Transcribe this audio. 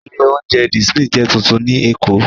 Ilé-oúnjẹ The Smith jẹ́ tuntun ní Èkó.